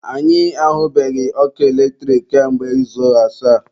Anyị ahubeghị ọkụ eletrik kamgbe izu asaa